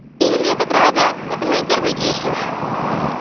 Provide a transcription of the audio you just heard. им я так рада это мои первые дети